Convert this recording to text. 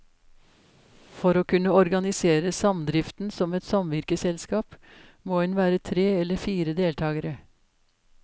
For å kunne organisere samdriften som et samvirkeselskap, må en være tre eller flere deltakere.